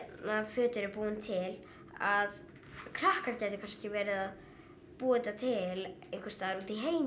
föt eru búin til að krakkar gætu kannski verið að búa þetta til einhvers staðar úti í heimi